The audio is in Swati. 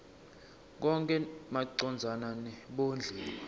konkhe macondzana nebondliwa